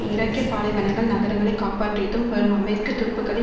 ஈராக்கிய பாலைவனங்கள் நகரங்களை காப்பாற்றியும் வரும் அமெரிக்க துருப்புக்களின்